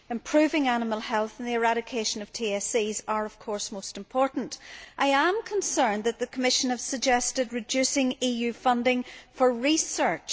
Improving animal health and the eradication of TSEs are, of course, most important. I am concerned that the Commission has suggested reducing EU funding for research.